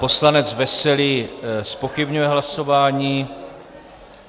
Poslanec Veselý zpochybňuje hlasování.